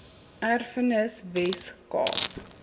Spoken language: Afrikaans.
erfenis wes kaap